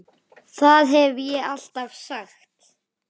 Það hef ég alltaf sagt.